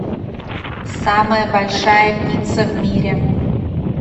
самая большая пицца в мире